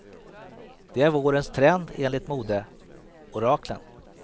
Det är vårens trend enligt modeoraklen.